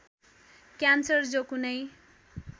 cancer जो कुनै